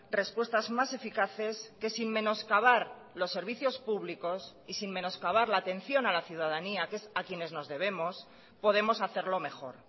respuestas más eficaces que sin menoscabar los servicios públicos y sin menoscabar la atención a la ciudadanía que es a quienes nos debemos podemos hacerlo mejor